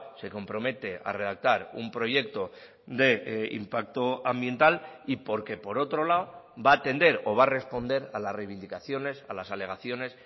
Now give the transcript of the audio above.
se compromete a redactar un proyecto de impacto ambiental y porque por otro lado va atender o va a responder a las reivindicaciones a las alegaciones